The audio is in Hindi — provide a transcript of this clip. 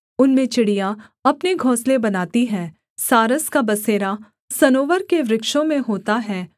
उनमें चिड़ियाँ अपने घोंसले बनाती हैं सारस का बसेरा सनोवर के वृक्षों में होता है